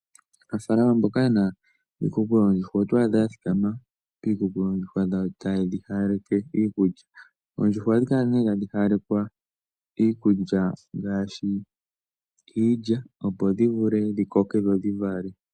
Aanafaalama mboka yena iikuku yoondjuhwa, oto adha ya thikama piikuku yoondjuhwa dhawo ta yedhi hawaleke iikulya. Oondjuhwa ohadhi kala nee tadhi hawalekwa iikulya ngaashi iilya, opo dhi vule dhi koke dho dhivale.